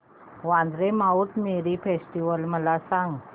Vandre Mount Mary festival मला सांग